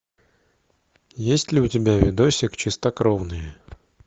есть ли у тебя видосик чистокровные